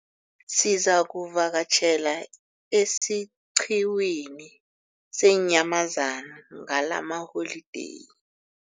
Sizakuvakatjhela esiqhiwini seenyamazana ngalamaholideyi.